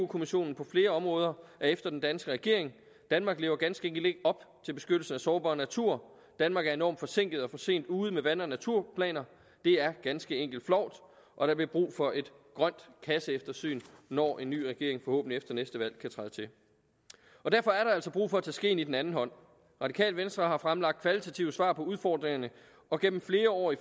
kommissionen på flere områder er efter den danske regering danmark lever ganske enkelt ikke op til beskyttelsen af sårbar natur danmark er enormt forsinket og for sent ude med vand og naturplaner det er ganske enkelt flovt og der bliver brug for et grønt kasseeftersyn når en ny regering forhåbentlig efter næste valg kan træde til derfor altså brug for at tage skeen i den anden hånd radikale venstre har fremlagt kvalitative svar på udfordringerne og gennem flere år i